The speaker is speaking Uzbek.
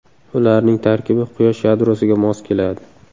Ularning tarkibi Quyosh yadrosiga mos keladi.